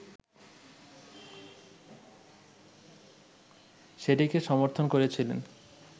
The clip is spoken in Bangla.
সেটিকে সমর্থন করেছিলেন